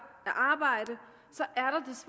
at arbejde